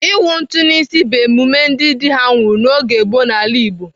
Ịwụ ntụ n'isi bụ emume ndị dị ha nwụrụ n'oge gboo n'ala Igbo.